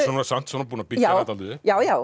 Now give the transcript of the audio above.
samt búin að byggja hana dálítið upp já já